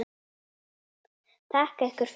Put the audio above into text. Þakka ykkur fyrir.